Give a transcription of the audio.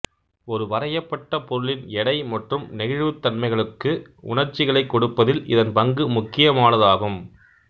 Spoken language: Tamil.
ஒரு வரையப்பட்ட பொருளின்எடை மற்றும் நெகிழ்வுத்தன்மைகளுக்கு உணர்ச்சிகளைக் கொடுப்பதில் இதன் பங்கு முக்கியமானது ஆகும்